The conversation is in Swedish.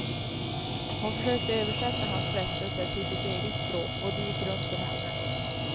Hon försökte översätta hans frestelse till sitt eget språk, och det gick runt för henne.